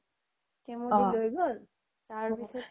তেওৰ খেইতো লই গ্'ল তাৰ পিছ্ত